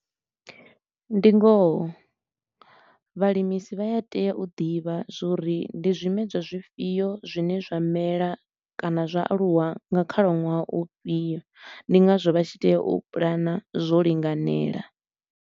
Ndi ngoho vhalimisi vha ya tea u ḓivha zwa uri ndi zwimedzwa zwifhio zwine zwa mela kana zwa aluwa nga khalaṅwaha u fhiyo, ndi ngazwo vha tshi tea u pulana zwo linganela.